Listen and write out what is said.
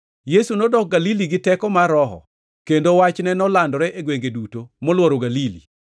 Yesu nodok Galili gi teko mar Roho, kendo wachne nolandore e gwenge duto moluoro Galili.